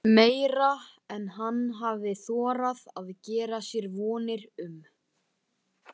Rétt eins og hann flosnaði Björg upp úr námi.